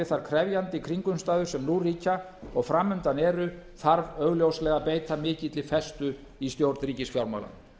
þær krefjandi kringumstæður sem nú ríkja og fram undan eru þarf augljóslega að beita mikilli festu í stjórn ríkisfjármála